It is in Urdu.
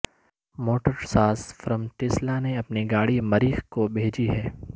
موٹر ساز فرم ٹیسلا نے اپنی گاڑی مریخ کو بھیجی ہے